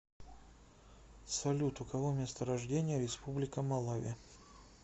салют у кого место рождения республика малави